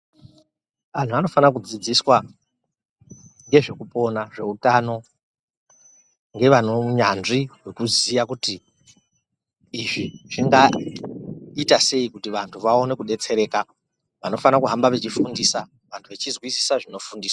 Anthu anofana kudzidziswa ngezvekupona zveutano ngevaneunyanzvi hwekuziya kuti izvi zvingaita sei kuti vanthu vaone kudetsereka vanofana kuhamba vechifundisa vanthu vechizwisisa zvinofundiswa.